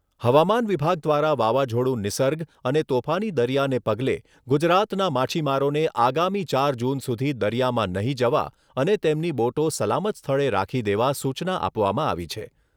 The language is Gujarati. હવામાન વિભાગ દ્વારા વાવાઝોડું નિસર્ગ અને તોફાની દરિયાને પગલે ગુજરાતના માછીમારોને આગામી ચાર જૂન સુધી દરિયામાં નહિ જવા અને તેમની બોટો સલામત સ્થળે રાખી દેવા સૂચના આપવામાં આવી છે.